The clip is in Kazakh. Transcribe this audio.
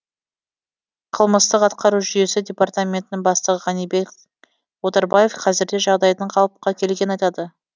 қылмыстық атқару жүйесі департаментінің бастығы ғанибек отарбаев қазірде жағдайдың қалыпқа келгенін айтады